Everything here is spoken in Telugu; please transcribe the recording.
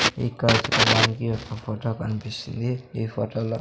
ఇక్కడ చూడడానికి ఒక ఫొటో కన్పిస్తుంది ఈ ఫోటోలో --